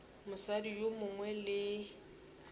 mosadi yo mongwe le yo